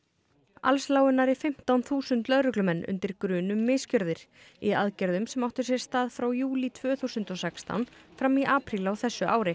alls lágu nærri fimmtán þúsund lögreglumenn undir grun um misgjörðir í aðgerðum sem áttu sér stað frá júlí tvö þúsund og sextán fram í apríl á þessu ári